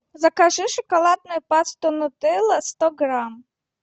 закажи шоколадную пасту нутелла сто грамм